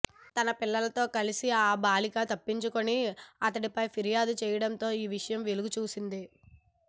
తన పిల్లలతో కలిసి ఆ బాలిక తప్పించుకొని అతడిపై ఫిర్యాదు చేయడంతో ఈ విషయం వెలుగు చూసింది